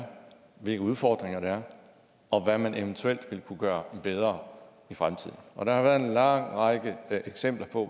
er hvilke udfordringer der er og hvad man eventuelt ville kunne gøre bedre i fremtiden og der har været en lang række eksempler på